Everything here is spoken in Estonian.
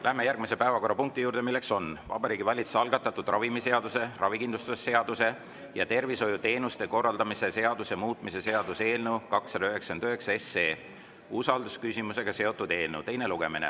Läheme järgmise päevakorrapunkti juurde, milleks on Vabariigi Valitsuse algatatud ravimiseaduse, ravikindlustuse seaduse ja tervishoiuteenuste korraldamise seaduse muutmise seaduse eelnõu 299 teine lugemine.